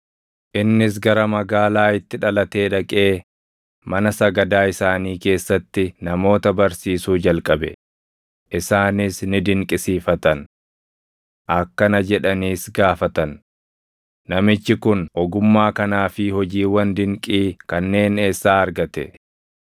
Innis gara magaalaa itti dhalatee dhaqee mana sagadaa isaanii keessatti namoota barsiisuu jalqabe; isaanis ni dinqisiifatan. Akkana jedhaniis gaafatan; “Namichi kun ogummaa kanaa fi hojiiwwan dinqii kanneen eessaa argate?